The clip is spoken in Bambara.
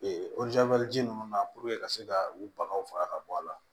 ji ninnu na ka se ka u bagaw faga ka bɔ a la